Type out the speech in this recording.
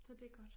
Så det godt